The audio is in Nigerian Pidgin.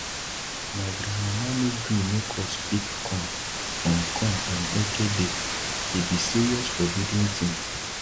my grandmama no gree make us pick corn on corn on eke day e be serious forbidden tin